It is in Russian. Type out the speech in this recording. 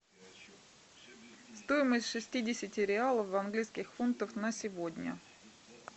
стоимость шестидесяти реалов в английских фунтах на сегодня